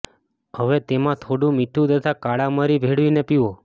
હવે તેમાં થોડું મીઠું તથા કાળા મરી ભેળવીને પીવો